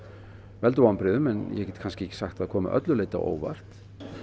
veldur vonbrigðum en ég get kannski ekki sagt að það komi að öllu leyti á óvart